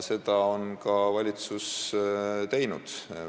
Seda on valitsus ka järginud.